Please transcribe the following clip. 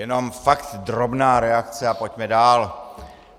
Jenom fakt drobná reakce a pojďme dál.